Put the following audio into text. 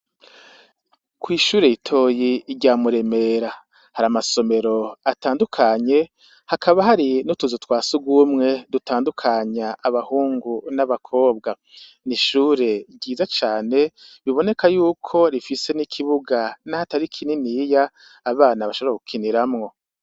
kw'ishure ritoyi rya Muremera, hari amasomero atandukanye hakaba hari n'utuzu twa sugumwe dutandukanya abahungu n'abakobwa. N'ishure ryiza cane biboneka yuko rifise n'ikibuga n'aho atari kininiya, abana bashobora gukiniramwo.